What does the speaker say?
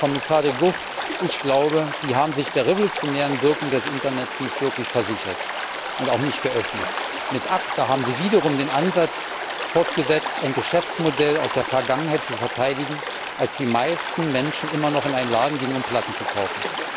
Kommissar De Gucht, ich glaube, Sie haben sich der revolutionären Wirkung des Internets nicht wirklich vergewissert und auch nicht geöffnet. Mit ACTA haben Sie den Ansatz fortgesetzt, ein Geschäftsmodell aus der Vergangenheit zu verteidigen, als die meisten Menschen immer noch in einen Laden gingen, um Platten zu kaufen.